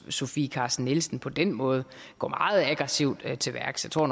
sofie carsten nielsen på den måde går meget aggressivt til værks jeg tror at